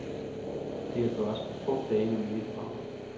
Det kan gøres på få dage med mine programmer.